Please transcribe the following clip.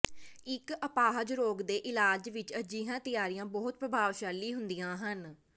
ਇੱਕ ਅਪਾਹਜ ਰੋਗ ਦੇ ਇਲਾਜ ਵਿੱਚ ਅਜਿਹੀਆਂ ਤਿਆਰੀਆਂ ਬਹੁਤ ਪ੍ਰਭਾਵਸ਼ਾਲੀ ਹੁੰਦੀਆਂ ਹਨ